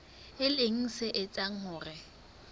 e leng se etsang hore